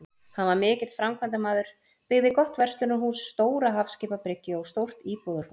Hann var mikill framkvæmdamaður, byggði gott verslunarhús, stóra hafskipabryggju og stórt íbúðarhús.